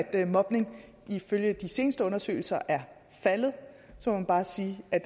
af mobning ifølge de seneste undersøgelser er faldet må man bare sige at